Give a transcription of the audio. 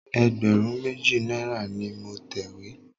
Ẹgbẹ̀rún méjì náírà ni mo tẹ̀wé.